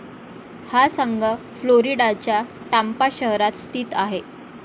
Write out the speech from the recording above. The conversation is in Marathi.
हा संघ फ्लोरिडाच्या टांपा शहरात स्थित आहे.